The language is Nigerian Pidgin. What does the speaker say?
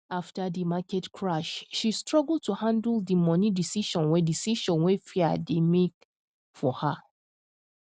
after di market crash she struggle to handle di money decision wey decision wey fear dey make for her